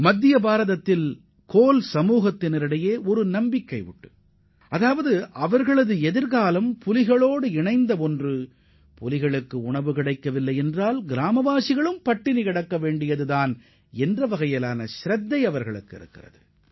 மத்திய இந்தியாவின் கோல் இனத்தவர் புலிகள் தங்களது வாழ்க்கையுடன் நேரடி தொடர்பு கொண்டவையாகக் கருதுவதுடன் புலிகளுக்கு உணவு கிடைக்காவிட்டால் ஒட்டுமொத்த கிராமமும் பட்டினிக்கு ஆளாக நேரிடும் என உணர்கின்றனர்